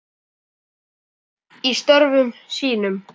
Farsæll í störfum sínum.